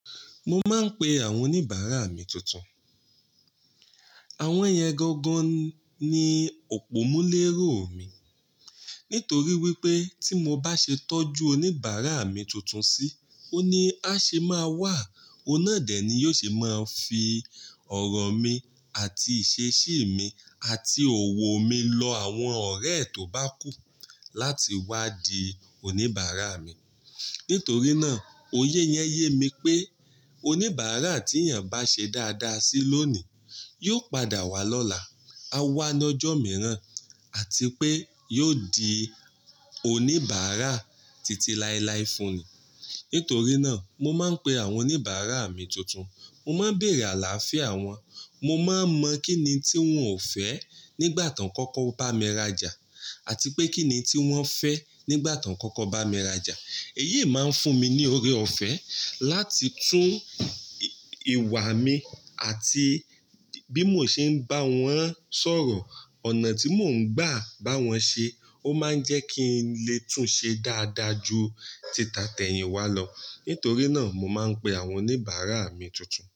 Mo máa ń pe àwọn oníbàárà mi tuntun. Àwọn èèyàn gangan ni òpómúléró mi nítorí wípé tí mo bá ṣe tọ́jú oníbàárà mi tuntun sí, ó ní á ṣe máa wà, ọ̀nà dẹ̀ ni yóò ṣe máa fi ọ̀rọ̀ mi àti ìṣesí mi àti òwò mi lọ àwọn ọ̀rẹ́ tó bá kú láti wá di oníbàárà mi. Nítorí náà, oyé yẹn yé mi pé oníbàárà tí èèyàn bá ṣe dáadáa sí lónìí, yóò padà wá lọ́la, a wá lọ́jọ́ mìíràn àti pé yóò di oníbàárà titi láilái fúnni. Nítorí náà, mo máa ń pe àwọn oníbàárà mi tuntun. Mo máa ń bèèrà láàfíà wọ́n, mo máa ń mọ kínni tí wọ́n ò fẹ́ nígbà ti won kọ́kọ́ bá mi rajà, àti pé kínni tí wọ́n fẹ́ nígbà ti won kọ́kọ́ bá mi rajà. Èyí máa ń fún mi ní ọrẹ ọ̀fẹ́, láti tún ìwà mi àti bí mo ṣe ń bá wọn sọ̀rọ̀, ọ̀nà tí mò ń gbà bá wọn ṣe, ó máa ń jẹ́ kí n lè tún ṣe dáadáa ju títà tẹ̀yìn wá lọ. Nítorí náà, mo máa ń pe àwọn oníbàárà mi tuntun.